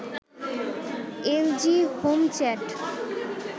LG HomeChat